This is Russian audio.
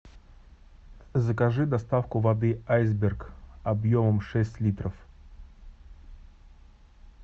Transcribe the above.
закажи доставку воды айсберг объемом шесть литров